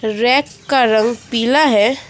Rack का रंग पीला है।